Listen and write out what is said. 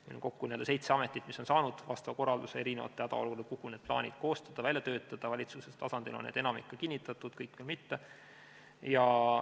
Meil on kokku seitse ametit, mis on saanud korralduse eri hädaolukordade jaoks need plaanid koostada, välja töötada, valitsuse tasandil on enamik ka kinnitatud, kõik veel mitte.